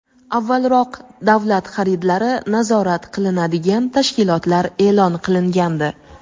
avvalroq davlat xaridlari nazorat qilinadigan tashkilotlar e’lon qilingandi.